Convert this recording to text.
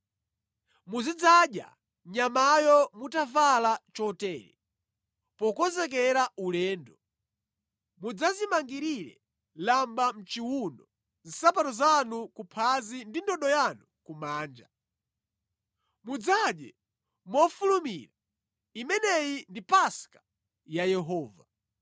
Muzidzadya nyamayo mutavala chotere, pokonzekera ulendo: mudzazimangirire lamba mʼchiwuno, nsapato zanu kuphazi ndi ndodo yanu kumanja. Mudzadye mofulumira. Imeneyi ndi Paska ya Yehova.